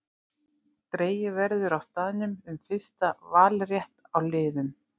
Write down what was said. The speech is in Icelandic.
Dregið verður á staðnum um fyrsta valrétt á liðum.